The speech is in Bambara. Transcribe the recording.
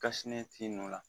Kasi ne t'i nu la